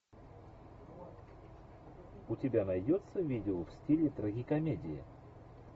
у тебя найдется видео в стиле трагикомедия